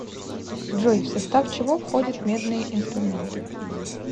джой в состав чего входит медные инструменты